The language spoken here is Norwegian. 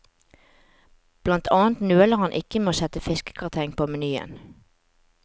Blant annet nøler han ikke med å sette fiskegrateng på menyen.